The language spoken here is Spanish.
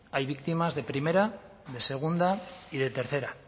hay víctimas de primera de segunda y de tercera